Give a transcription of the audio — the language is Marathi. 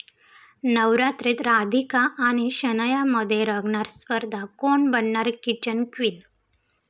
नवरात्रीत राधिका आणि शनायामध्ये रंगणार स्पर्धा, कोण बनणार किचन क्वीन?